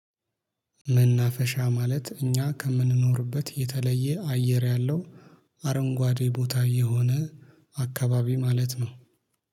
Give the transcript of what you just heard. መናፈሻ ማለት እኛ ከምንኖርበት የተለየ አየር ያለው አረንጓዴ ቦታ የሆነ አካባቢ ማለት ነው